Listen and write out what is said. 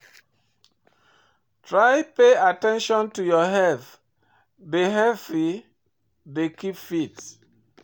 Try pay at ten tion to your health, dey healthy and keep fit